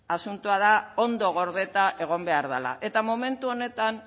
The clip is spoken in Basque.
asuntoa da ondo gordeta egon behar dala eta momentu honetan